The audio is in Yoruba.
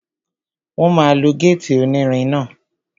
Wọ́n máa lo gétì onírin náà